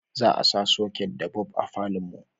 za a sa soket da bulb a falon mu